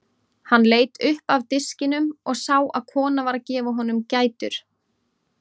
Hann leit upp af diskinum og sá að kona var að gefa honum gætur.